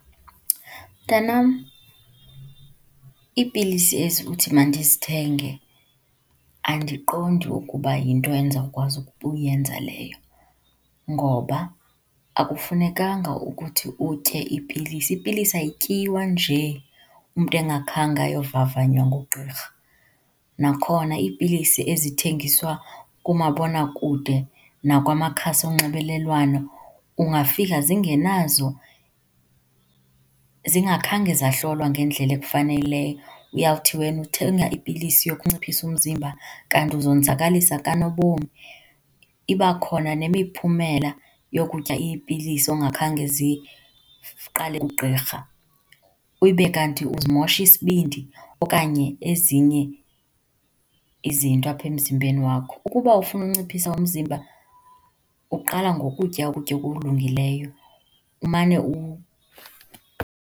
Mntanam, iipilisi ezi uthi mandizithenge andiqondi ukuba yinto endizawukwazi ukuyenza leyo ngoba akufunekanga ukuthi utye iipilisi, ipilisi ayityiwa nje umntu engakhange ayovavanywa ngugqirha. Nakhona iipilisi ezithengiswa kumabonakude nakwamakhasi onxibelelwano, ungafika zingenazo zingakhange zahlolwa ngendlela ekufaneleyo. Uyawuthi wena uthenga ipilisi yokunciphisa umzimba kanti uzonzakalisa kanobom. Ibakhona nemiphumela yokutya iipilisi ongakhange ziqale kugqirha, ube kanti uzimosha isibindi okanye ezinye izinto apha emzimbeni wakho. Ukuba ufuna ukunciphisa umzimba, uqala ngokutya ukutya okulungileyo, umane